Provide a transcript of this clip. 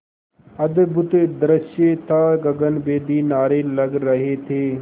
अद्भुत दृश्य था गगनभेदी नारे लग रहे थे